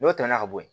N'o tɛmɛna ka bɔ yen